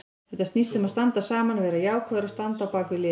Þetta snýst um að standa saman, vera jákvæður og standa á bakvið liðið.